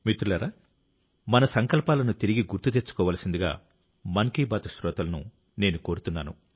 మిత్రులారా మన సంకల్పాలను తిరిగి గుర్తు తెచ్చుకోవలసిందిగా మన్ కీ బాత్ శ్రోతలను నేను కోరుతున్నాను